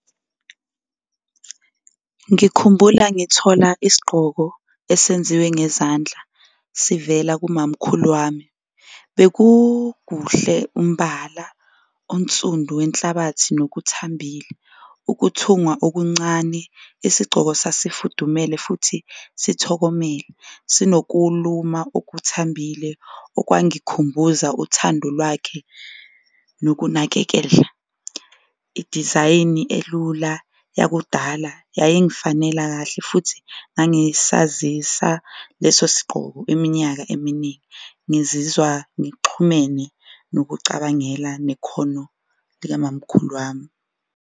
Ngikhumbula ngithola isigqoko esenziwe ngezandla sivela komamkhulu wami bekukuhle, umbala onsundu wenhlabathi nokuthambile, ukuthungwa okuncane. Isigcoko sasifudumele futhi sithokomele, sinokuluma okuthambile okwangikhumbuza uthando lwakhe nokunakekela, idizayini elula yakudala yayingifanela kahle futhi ngangisazisa lesi sigqoko iminyaka eminingi. Ngizizwa ngixhumene nokucabangela nekhono likamamkhulu wami.